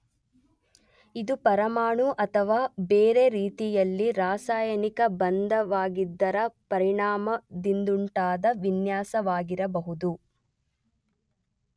ಇದು ಪರಮಾಣು ಅಥವಾ ಬೇರೆ ರೀತಿಯಲ್ಲಿ ರಾಸಾಯನಿಕ ಬಂಧವಾಗಿದ್ದರ ಪರಿಣಾಮದಿಂದುಂಟಾದ ವಿನ್ಯಾಸವಾಗಿರಬಹುದು.